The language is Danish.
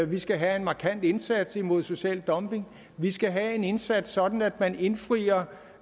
vi skal have en markant indsats imod social dumping vi skal have en indsats sådan at man indfrier